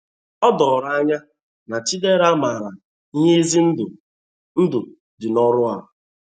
O doro anya na Chidera maara ihe ize ndụ ndụ dị n’ọrụ a.